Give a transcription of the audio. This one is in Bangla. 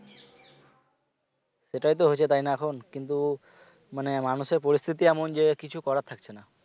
সেটাই তো হয়েছে তাই না এখন কিন্তু মানে মানুষের পরিস্থিতি এমন যে কিছু করার থাকছে না